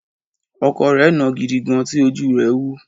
Ọkọ rẹ̀ nàá gidi gan, tí ojú rẹ wú.